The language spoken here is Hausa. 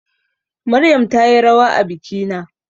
Maryam tayi rawa a bikina